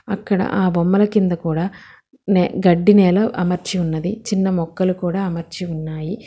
అక్కడ ఆ బొమ్మల కింద కూడా నే గడ్డి నేల అమర్చి ఉన్నది చిన్న మొక్కలు కూడా అమర్చి ఉన్నాయి.